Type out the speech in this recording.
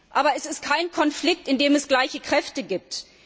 Aber dies ist kein Konflikt, in dem es gleiche Kräfte gibt.